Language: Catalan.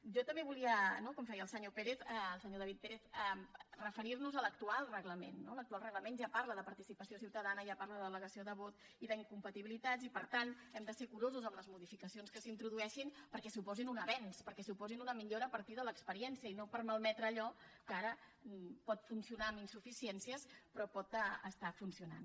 jo també volia no com feia el senyor david pérez referirnos a l’actual reglament no l’actual reglament ja parla de participació ciutadana ja parla de delegació de vot i d’incompatibilitats i per tant hem de ser curosos amb les modificacions que s’hi introdueixin perquè suposin un avenç perquè suposin una millora a partir de l’experiència i no per malmetre allò que ara pot funcionar amb insuficiències però pot estar funcionant